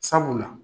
Sabula